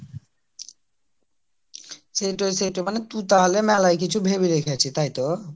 সেইটোই সেইটোই তুই তাহলে মেলায় কিছু ভেবে রেখেছিস তাইতো